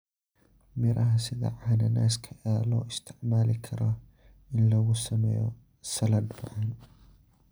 Miraha sida cananaaska ayaa loo isticmaali karaa in lagu sameeyo saladh macaan.